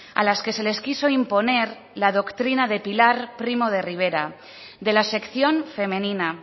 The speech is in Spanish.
a las que se les quiso imponer la doctrina de pilar primo de rivera de la sección femenina